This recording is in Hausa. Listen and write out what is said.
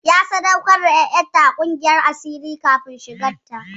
Na sadaukar da ƴarsa ga ƙungiyar asirin kafin shigar sa.